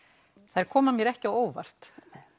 þær koma mér ekki á óvart